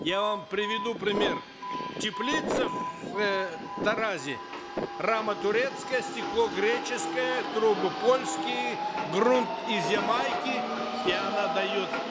я вам приведу пример теплица в э таразе рама турецкая стекло греческое трубы польские грунт из ямайки и она дает